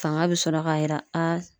Fanga be sɔrɔ ka yira a